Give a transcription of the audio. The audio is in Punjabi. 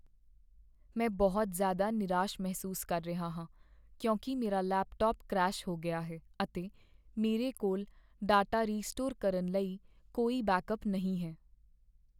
ਮੈਂ ਬਹੁਤ ਜ਼ਿਆਦਾ ਨਿਰਾਸ਼ ਮਹਿਸੂਸ ਕਰ ਰਿਹਾ ਹਾਂ ਕਿਉਂਕਿ ਮੇਰਾ ਲੈਪਟਾਪ ਕਰੈਸ਼ ਹੋ ਗਿਆ ਹੈ, ਅਤੇ ਮੇਰੇ ਕੋਲ ਡਾਟਾ ਰੀਸਟੋਰ ਕਰਨ ਲਈ ਕੋਈ ਬੈਕਅੱਪ ਨਹੀਂ ਹੈ।